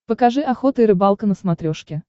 покажи охота и рыбалка на смотрешке